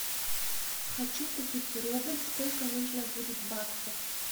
хочу купить рубль сколько нужно будет баксов